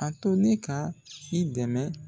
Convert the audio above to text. A to ne ka i dɛmɛ